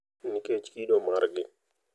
Nikech kido margi,